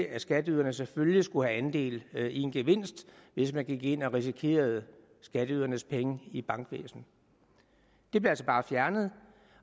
at skatteyderne selvfølgelig skulle have andel i en gevinst hvis man gik ind og risikerede skatteydernes penge i bankvæsenet det blev altså bare fjernet